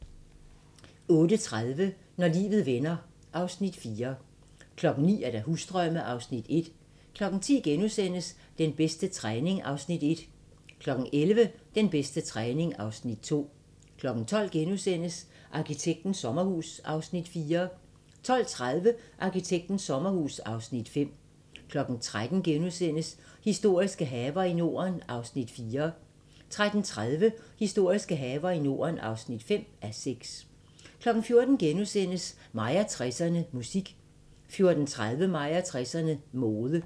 08:30: Når livet vender (Afs. 4) 09:00: Husdrømme (Afs. 1) 10:00: Den bedste træning (Afs. 1)* 11:00: Den bedste træning (Afs. 2) 12:00: Arkitektens sommerhus (Afs. 4)* 12:30: Arkitektens sommerhus (Afs. 5) 13:00: Historiske haver i Norden (4:6)* 13:30: Historiske haver i Norden (5:6) 14:00: Mig og 60'erne: Musik * 14:30: Mig og 60'erne: Mode